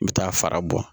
N bɛ taa fara bɔ